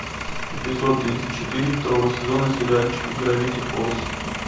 эпизод тридцать четыре второго сезона сериальчика гравити фолз